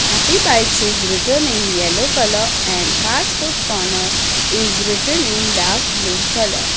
Happy bites is written in yellow colour and fast food corner is written in dark blue colour.